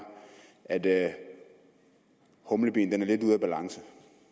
at humlebien er lidt ude af balance